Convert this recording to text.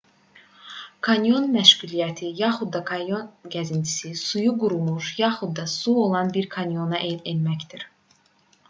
kanyon məşğuliyyəti yaxud da kanyon gəzintisi suyu qurumuş yaxud da su olan bir kanyona enməkdir